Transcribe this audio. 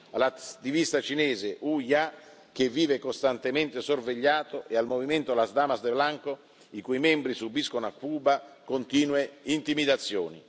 Penso all'attivista cinese Hu Jia, che vive costantemente sorvegliato, e al movimento Las Damas de Blanco i cui membri subiscono a Cuba continue intimidazioni.